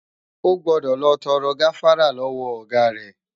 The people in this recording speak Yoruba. O gbọdọ̀ lọ tọrọ gáfárá lọ́wọ Ọ̀gá rẹ!